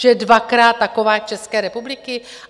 Že je dvakrát taková jak České republiky?